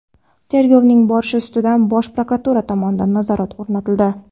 Tergovning borishi ustidan Bosh prokuratura tomonidan nazorat o‘rnatildi.